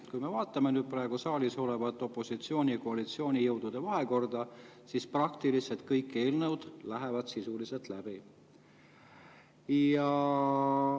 Kui me vaatame praegu saalis olevat opositsiooni‑ ja koalitsioonijõudude vahekorda, siis praktiliselt kõik eelnõud lähevad sisuliselt läbi.